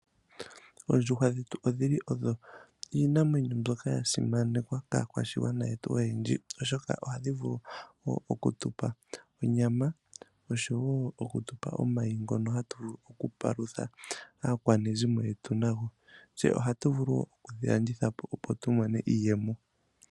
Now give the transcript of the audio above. Oondjuhwa dhetu odhili odho iinamwenyo mbyoka ya simanekwa kaakwashigwana yetu oyendji, oshoka ohadhi vulu wo okutupa onyama oshowo okutupa omayi ngono hatu vulu okupalutha aakwanezimo yetu nago. Tse ohatu vulu wo oku dhi landithapo tu mone iiyemo.